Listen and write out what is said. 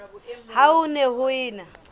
ha ho ne ho ena